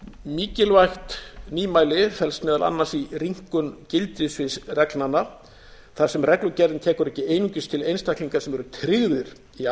mikilvægt nýmæli felst meðal annars í rýmkun gildissvið reglnanna þar sem reglugerðin tekur ekki einungis til einstaklinga sem eru tryggðir í